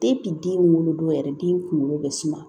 den wolodon yɛrɛ den kunkolo bɛ suma